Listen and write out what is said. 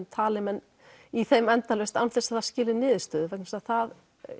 tali menn í þeim endalaust án þess að það skili niðurstöðu vegna þess að það